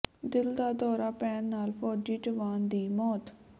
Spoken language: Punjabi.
ਦਿਲ ਦਾ ਦੌਰਾ ਪੈਣ ਨਾਲ ਫੌਜੀ ਜਵਾਨ ਦੀ ਮੌਤ